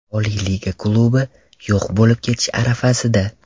Oliy liga klubi yo‘q bo‘lib ketish arafasida.